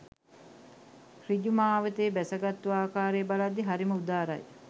ඍජු මාවතේ බැසගත්තු ආකාරය බලද්දී හරිම උදාරයි